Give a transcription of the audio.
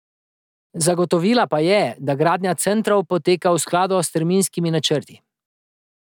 Zagotovila pa je, da gradnja centrov poteka v skladu s terminskimi načrti.